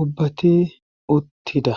ubbati uttida